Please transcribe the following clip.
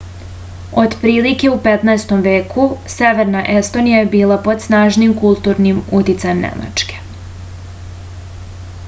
otprilike u 15. veku severna estonija je bila pod snažnim kulturnim uticajem nemačke